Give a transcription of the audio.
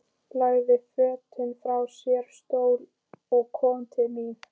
Lagði fötin frá sér á stól og kom til mín.